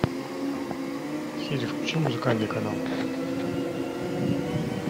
сири включи музыкальный канал